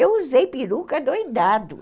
Eu usei peruca adoidado.